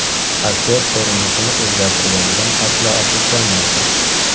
Aktyor ko‘rinishini o‘zgartirganidan aslo afsuslanmaydi.